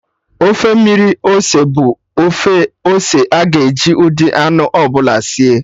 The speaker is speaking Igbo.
Ofe mmiri ose bụ ofe ose aga-eji ụdị anụ ọbụla sie